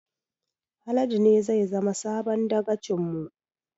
Haladu ne zai zama sabon dagacin mu